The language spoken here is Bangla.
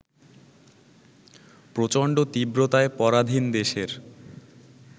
প্রচণ্ড তীব্রতায় পরাধীন দেশের